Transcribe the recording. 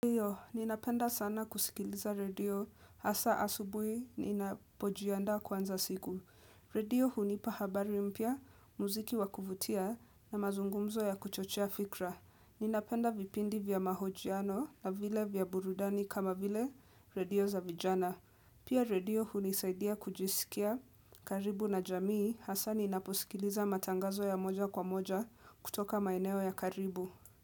Ninapenda sana kusikiliza redio hasa asubui ninapojianda kuanza siku. Radio hunipa habari mpya, muziki wakuvutia na mazungumzo ya kuchochea fikra Ninapenda vipindi vya mahojiano na vile vya burudani kama vile radio za vijana. Pia radio hunisaidia kujisikia karibu na jamii hasa ninaposikiliza matangazo ya moja kwa moja kutoka maeneo ya karibu.